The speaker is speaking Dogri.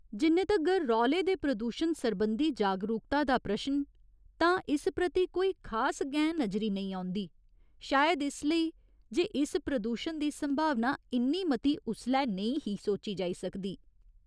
जिन्ने तगर रौले दे प्रदूशण सरबंधी जागरुकता दा प्रश्न तां इस प्रति कोई खास गैं नजरी नेईं औंदी शायद इसलेई जे इस प्रदूशण दी संभावना इन्नी मती उसलै नेईं ही सोची जाई सकदी।